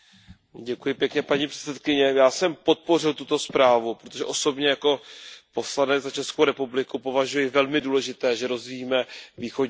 Paní předsedající, já jsem podpořil tuto zprávu, protože osobně jako poslanec za Českou republiku považuji za velmi důležité, že rozvíjíme Východní partnerství.